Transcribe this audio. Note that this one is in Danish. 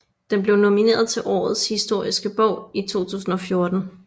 Den blev nomineret til Årets historiske bog i 2014